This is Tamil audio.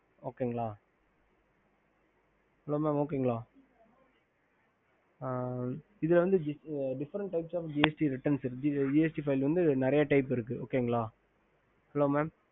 mam okay okey sir இதுல வந்து diffend typ gst வரும் gst file tipe இருக்கு